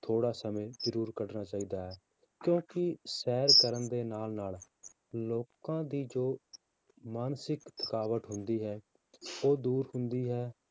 ਥੋੜ੍ਹਾ ਸਮੇਂ ਜ਼ਰੂਰ ਕੱਢਣਾ ਚਾਹੀਦਾ ਹੈ, ਕਿਉਂਕਿ ਸੈਰ ਕਰਨ ਦੇ ਨਾਲ ਨਾਲ ਲੋਕਾਂ ਦੀ ਜੋ ਮਾਨਸਿਕ ਥਕਾਵਟ ਹੁੰਦੀ ਹੈ ਉਹ ਦੂਰ ਹੁੰਦੀ ਹੈ